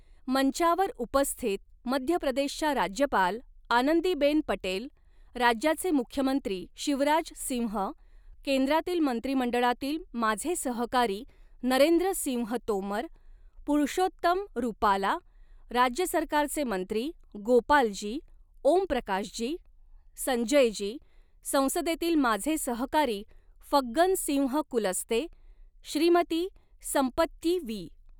मंचावर उपस्थित मध्य प्रदेशच्या राज्यपाल आनंदीबेन पटेल, राज्याचे मुख्यमंत्री शिवराज सिंह, केंद्रातील मंत्रिमंडळातील माझे सहकारी नरेंद्र सिंह तोमर, पुरुषोत्तम रुपाला, राज्य सरकारचे मंत्री गोपालजी, ओमप्रकाशजी, संजयजी, संसदेतील माझे सहकारी फग्गन सिंह कुलस्ते, श्रीमती सम्पत्यी वी.